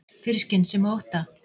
Fyrir skynsemi og ótta